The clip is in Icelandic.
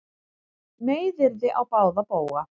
Meiðyrði á báða bóga